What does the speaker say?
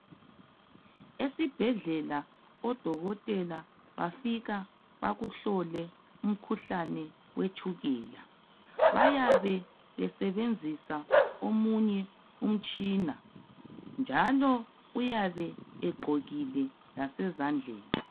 Esibhedlela odokotela bafika bakuhlole umkhuhlane wetshukela bayabe besebenzisa umtshina njalo uyabe egqokile lase zandleni